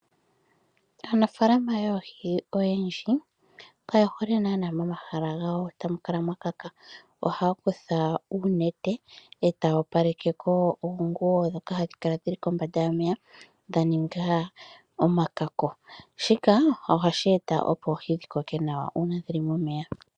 Aanafaalama yoohi oyendji kaye hole naanaa momahala gawo tamu kala mwa kaka. Ohaya kutha uunete etaya opalekeko oonguyo ndhoka hadhi kala dhili kombanda yomeya dha ninga omakako. Shika ohashi eta opo oohi dhi koke nawa uuna dhili momeya.